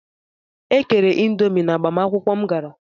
E kere indomi n'agbamakwụkwụ m gara.